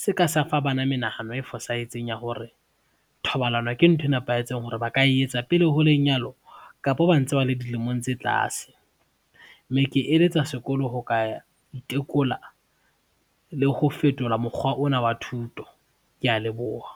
se ka sa fa bana menahano e fosahetseng ya hore, thobalano ke ntho e nepahetseng hore ba ka etsa pele ho lenyalo kapa ba ntse ba le dilemong tse tlase mme ke eletsa sekolo ho ka itekola le ho fetola mokgwa ona wa thuto. Ke a leboha.